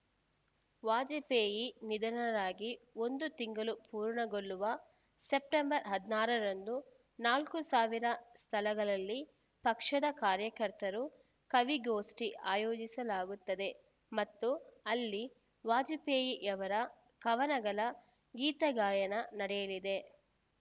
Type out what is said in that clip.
ವಾಜಪೇಯಿ ನಿಧನರಾಗಿ ಒಂದು ತಿಂಗಳು ಪೂರ್ಣಗೊಳ್ಳುವ ಸೆಪ್ಟೆಂಬರ್ ಹದಿನಾರರಂದು ನಾಲ್ಕು ಸ್ಥಳಗಳಲ್ಲಿ ಪಕ್ಷದ ಕಾರ್ಯಕರ್ತರು ಕವಿಗೋಷ್ಠಿ ಆಯೋಜಿಸಲಾಗುತ್ತದೆ ಮತ್ತು ಅಲ್ಲಿ ವಾಜಪೇಯಿಯವರ ಕವನಗಳ ಗೀತಗಾಯನ ನಡೆಯಲಿದೆ